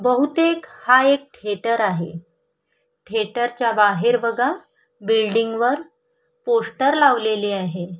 बहुतेक हा एक थेटर आहे थिएटर च्या बाहेर बघा बिल्डिंग वर पोस्टर लावलेले आहे.